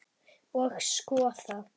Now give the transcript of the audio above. Og skoðað.